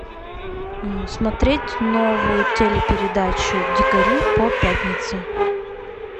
смотреть новую телепередачу дикари по пятнице